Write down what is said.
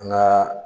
An ka